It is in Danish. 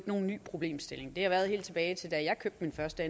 nogen ny problemstilling det har været sådan helt tilbage til da jeg købte min første